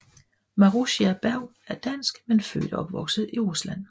Marussia Bergh er Dansk men født og opvokset i Rusland